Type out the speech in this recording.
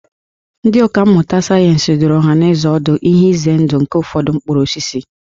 Ndị ọkà mmụta sayensị dụrụ ọhanaeze ọdụ ihe ize ndụ nke ụfọdụ mkpụrụ osisi